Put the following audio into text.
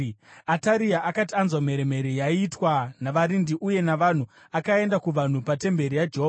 Ataria akati anzwa mheremhere yaiitwa navarindi uye navanhu, akaenda kuvanhu patemberi yaJehovha.